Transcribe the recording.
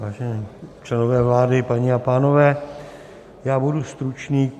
Vážení členové vlády, paní a pánové, já budu stručný.